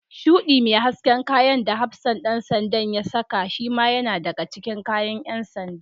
Shuɗi mai hasken kayan da hafsan ɗan sandan da ya saka shima yana daga cikin kayan ƴan sanda.